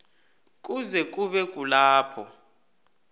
kuze kube kulapho